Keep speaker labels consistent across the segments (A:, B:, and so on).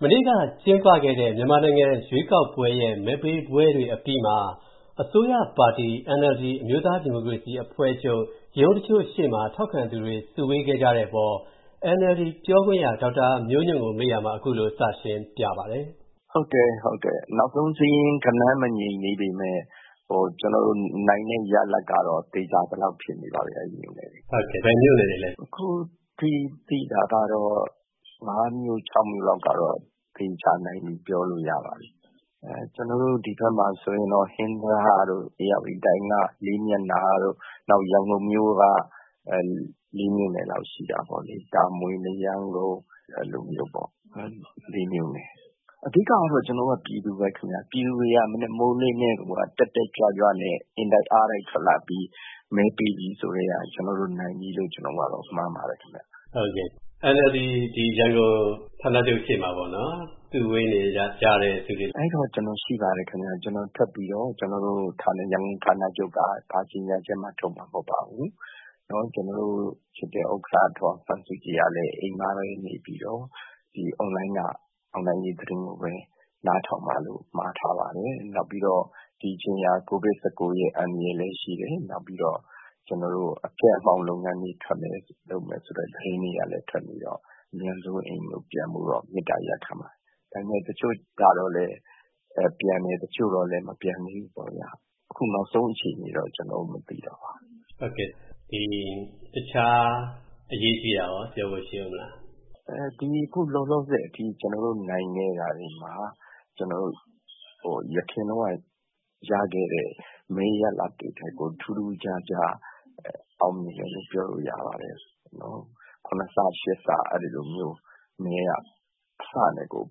A: မနေ့ကကျင်းပခဲ့တဲ့ မြန်မာနိုင်ငံ ရွေးကောက်ပွဲရဲ့ မဲပေးပွဲတွေ အပြီးမှာ အစိုးရပါတီ NLD အမျိုးသားဒီမိုကရေစီအဖွဲ့ချုပ် ရုံးတချို့ရှေ့မှာ ထောက်ခံသူတွေ စုဝေးခဲ့ကြတဲ့အပေါ် NLD ပြောခွင့်ရ ဒေါက်တာမျိုးညွန့်ကို မေးရာမှာ သူက အခုလို စရှင်းပြပါတယ်။
B: “ဟုတ်တယ်၊ နောက်ဆုံးစာရင်း ဂဏန်းမငြိမ်သေးပေမယ့် ကျနော်တို့ နိုင်တဲ့ရလဒ်ကတော့ သေချာသလောက် ဖြစ်နေပါပြီ၊ အဲဒီမြို့နယ်တွေမှာ။”
C: ဘယ်မြို့နယ်တွေလဲ။
B: “အခုထိသိတာ ၅ မြို့၊ ၆ မြို့လောက်ကတော့ သေချာနိုင်ပြီ ပြောလို့ရပါတယ်။ ဒီဘက်မှာဆိုရင် ဟင်္သာတတို့၊ ဧရာဝတီတိုင်းက လေးမျက်နှာတို့၊ နောက် ရန်ကုန်မြို့က ၄ မြို့နယ်လောက် ရှိတာပေါ့လေ။ တာမွေ၊ မရမ်းကုန်း အဲလိုမျိုးပေါ့။ အဓိကတော့ ကျနော်တို့က ပြည်သူပဲခင်ဗျ၊ ပြည်သူတွေက မနက်မိုးလင်းကတည်းကိုက တက်တက်ကြွကြွနဲ့ အင်တိုက်အားတိုက် ထွက်လာပြီး မဲပေးပြီဆိုကတည်းက ကျနော်တို့နိုင်လို့ မှန်းပါတယ်။”
C: NLD ရန်ကုန် ဌာနချုပ်ရှေ့မှာ စုဝေးနေကြတဲ့သူတွေ။
B: “အဲဒီတုန်းက ကျနော်ရှိပါတယ်။ ကျနော်ထွက်ပြီးတော့ ရန်ကုန်ဌာနချုပ်က ဘာကြေညာချက်မှ ထုတ်မှာမဟုတ်ပါဘူး။ ကျနော်တို့ချစ်တဲ့ ဥက္ကဋ္ဌ ဒေါ်အောင်ဆန်းစုကြည်ကလည်း အိမ်မှာပဲနေပြီး အွန်လိုင်းက အောင်နိုင်ရေး သတင်းကိုပဲ နားထောင်ပါလို့ မှာထားပါတယ်။ နောက်ပြီးတော့ ဒီအချိန်က COVID-19 ရဲ့ အန္တရာယ်လည်းရှိတယ်။ ပြီးတော့ အဖျက်အမှောင့် လုပ်ငန်းတွေ လုပ်မယ်ဆိုတဲ့ သတင်းတွေကလည်း ထွက်နေတော့ အမြန်ဆုံး အိမ်ကိုပြန်ဖို့ မေတ္တာရပ်ခံပါတယ်။ ဒါပေမယ့် တချို့တော့လည်း ပြန်တယ်၊ တချို့တော့လည်း မပြန်သေးဘူးပေါ့ဗျာ။ အခု နောက်ဆုံးအခြေအနေတော့ ကျနော် မသိတော့ပါဘူး။”
C: တခြား အရေးကြီးတာရော ပြောဖို့ရှိဦးမလား။
B: “အခုလောလောဆယ်အထိ ကျနော်တို့နိုင်တဲ့ နေရာတွေမှာ အရင်တုန်းက ရခဲ့တဲ့ မဲရလဒ်တွေထက်ကို ထူးထူးခြားခြား အောင်မြင်တယ်လို့ ပြောလို့ရပါတယ်။ ၇ ဆ၊ ၈ ဆ အဲဒီလိုမျိုး မဲက အဆနဲ့ကို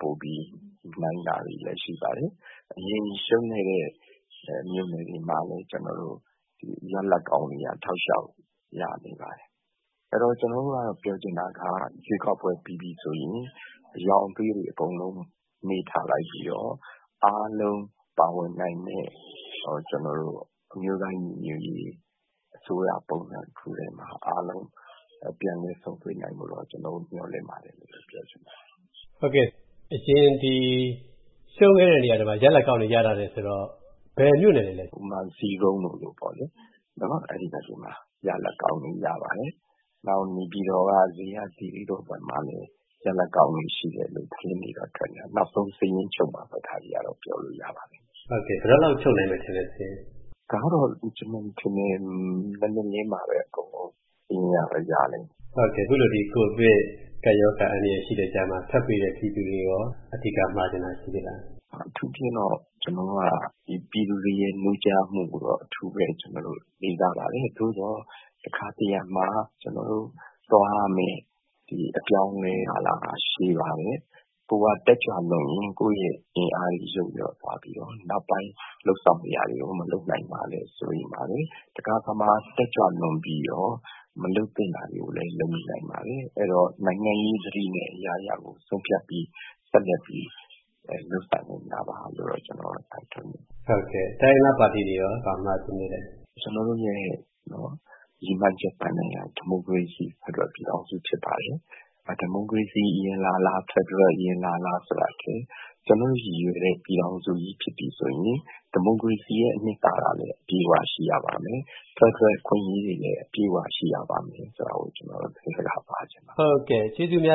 B: ပိုပြီး နိုင်တာတွေလည်း ရှိပါတယ်။ အရင်ရှုံးခဲ့တဲ့ မြို့နယ်တွေမှာလည်း ကျနော်တို့ ရလဒ်ကောင်းတွေ တောက်လျှောက် ရနေပါတယ်။ အဲတော့ ကျနော်တို့ကတော့ ပြောချင်တာက ရွေးကောက်ပွဲ ပြီးပြီဆိုရင် အရောင်အသွေးတွေ အကုန်လုံး မေ့ထားလိုက်ပြီးတော့ အားလုံးပါဝင်နိုင်မယ့် အမျိုးသားညီညွတ်ရေး အစိုးရပုံစံ တခုတည်းမှာ အားလုံး ပြန်လည်ဆုံတွေ့နိုင်ဖို့ မျှော်လင့်ပါတယ်လို့ ပြောချင်ပါတယ်။”
C: အရင်ရှုံးခဲ့တဲ့ နေရာတွေမှာ ရလဒ်ကောင်းတွေ ရလာတယ်ဆိုတော့ ဘယ်မြို့နယ်တွေလဲ။
B: ဥပမာ ဇီးကုန်းလိုမျိုးပေါ့လေ၊ အဲဒီဘက်တွေမှာ ရလဒ်ကောင်းတွေ ရပါတယ်။ နောက် နေပြည်တော်က ဇေယျာသီရိဘက်မှာလည်း ရလဒ်ကောင်းတွေ ရှိတယ်လို့ သတင်းတွေတော့ ထွက်နေတယ်။ နောက်ဆုံး စာရင်းချုပ်မှပဲ ဒါတွေကတော့ ပြောလို့ရပါမယ်။”
C: စာရင်း ဘယ်တော့လောက်ချုပ်နိုင်မယ်ထင်လဲ။
B: “ဒါကတော့ ကျနော်ထင်တယ် မနက်လင်းမှပဲ အကုန်လုံး စာရင်းကတော့ ရလိမ့်မယ်။”
C: အခုလို ကိုဗစ် ကပ်ရောဂါ အန္တရာယ်ရှိတဲ့ကြားမှာ ထပ်ပေးတဲ့ ပြည်သူတွေကိုရော အဓိကမှာချင်တာ ရှိသေးလား။
B: “အထူးသဖြင့်တော့ ကျနော်က ပြည်သူတွေရဲ့ နိုးကြားမှုကို အထူးပဲ လေးစားပါတယ်။ သို့သော် တခါတရံမှာ ကျောနာ်တို့သွားရမယ့် အပြောင်းအလဲကာလဟာ ရှည်ပါတယ်။ ကိုယ်က တက်ကြွလွန်းရင် ကိုယ့်ရဲ့ အင်အားတွေ ယုတ်လျော့သွားပြီးတော့ နောက်ပိုင်း လုပ်ဆောင်စရာတွေကို မလုပ်နိုင်မှာလည်း စိုးရိမ်ပါတယ်။ တခါတခါမှာ တက်ကြွလွန်ပြီးတော့ မလုပ်သင့်တာတွေကိုလည်း လုပ်မိနိုင်ပါတယ်။ အဲဒီတော့ နိုင်ငံရေးသတိနဲ့ အရာရာကို ဆုံးဖြတ်ပြီး ဆက်လက်ပြီး လုပ်ဆောင်ကြပါလို့တော့ ကျနော် တိုက်တွန်းချင်ပါတယ်။”
C: တိုင်းရင်းသားပါတီတွေကိုရော ဘာမှာချင်သေးလဲ။
B: “ကျနော်တို့ရဲ့ ရည်မှန်းချက်ပန်းတိုင်က ဒီမိုကရေစီ ဖက်ဒရယ်ပြည်ထောင်စု ဖြစ်ပါတယ်။ ဒီမိုကရေစီ အရင်လာလာ၊ ဖက်ဒရယ် အရင်လာလာ ဆိုတာထက် ကျနော်တို့ရည်ရွယ်တဲ့ ပြည်ထောင်စုကြီး ဖြစ်ပြီဆိုရင် ဒီမိုကရေစီရဲ့ အနှစ်သာရလည်း အပြည့်အဝ ရှိရပါမယ်။ ဖက်ဒရယ် အခွင့်အရေးတွေလည်း အပြည့်အဝ ရှိရပါမယ် ဆိုတာကို ကျနော်တို့ သတင်းစကား ပါးချင်ပါတယ်။”
C: ကျေးဇူးအများက